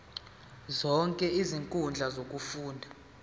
zonke izinkundla zokufunda